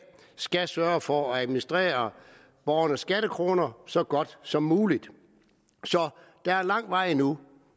skal sørge for at administrere borgernes skattekroner så godt som muligt så der er lang vej endnu